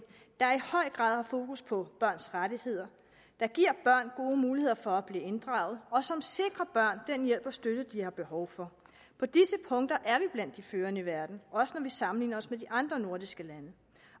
der i høj grad har fokus på børns rettigheder der giver børn gode muligheder for at blive inddraget og som sikrer børn den hjælp og støtte de har behov for på disse punkter er vi blandt de førende i verden også når vi sammenligner os med de andre nordiske lande